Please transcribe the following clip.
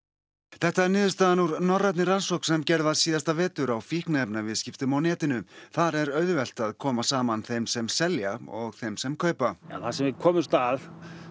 þetta er niðurstaðan úr norrænni rannsókn sem gerð var síðasta vetur á fíkniefnaviðskiptum á netinu þar er auðvelt að koma saman þeim sem selja og þeim sem kaupa það sem við komumst að